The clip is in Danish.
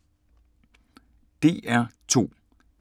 DR2